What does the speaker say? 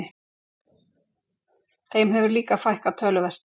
Þeim hefur líka fækkað töluvert